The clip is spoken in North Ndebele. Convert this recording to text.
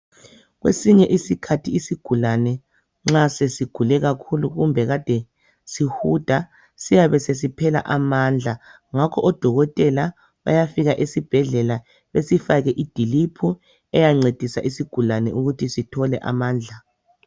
Kwesinye isikhathi isigulane nxa sesigule kakhulu kumbe kade sihuda siyabe sesiphela amandla ngakho odokotela bayafika esibhedlela besifake i drip eyancedisa isigulane ukuthi sithole amandla.